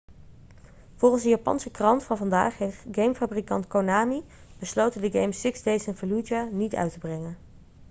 volgens een japanse krant van vandaag heeft gamefabrikant konami besloten de game six days in fallujah niet uit te brengen